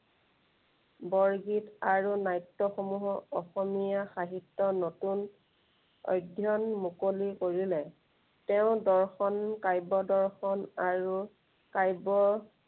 বৰগীত আৰু নাট্য়সমূহৰ অসমীয়া সাহিত্য়ৰ নতুন, অধ্য়য়ন মুকলি কৰিলে। তেওঁ দৰ্শন কাব্য় দৰ্শন আৰু কাব্য়